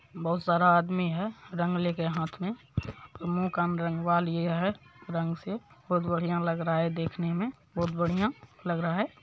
बहुत सारा आदमी है रंग लेके हाथ में मुंह कान रंगवा लिए है रंग से बहुत बढ़िया लग रहा है देखने में बहुत बढ़िया लग रहा है।